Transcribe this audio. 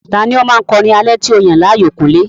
Ta ni ó máa ń kọ orin alẹ́ tí o yàn láàyò, kúnlé?